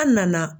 An nana